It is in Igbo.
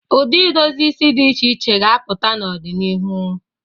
Ụdị idozi isi dị iche iche ga-apụta n'ọdinihu.